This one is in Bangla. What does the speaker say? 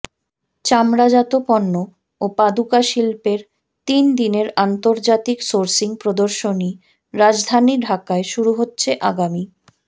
চামড়াজাত পণ্য ও পাদুকা শিল্পের তিন দিনের আন্তর্জাতিক সোর্সিং প্রদর্শনী রাজধানী ঢাকায় শুরু হচ্ছে আগামী